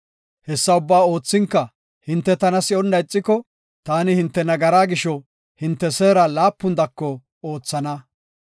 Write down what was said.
Hessa ubbaa oothinka hinte tana si7onna ixiko, taani hinte nagaraa gisho hinte seera laapun dako oothana.